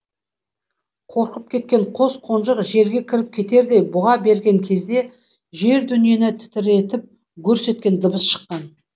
қорқып кеткен қос қонжық жерге кіріп кетердей бұға берген кезде жер дүниені тітіретіп гүрс еткен дыбыс шыққан